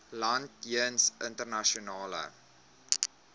land jeens internasionale